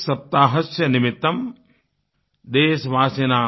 सप्ताह निमित्तं देशवासिनां